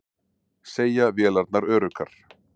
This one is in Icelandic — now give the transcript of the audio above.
Segja vélarnar öruggar